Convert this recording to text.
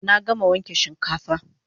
Na gama wanke shinkafa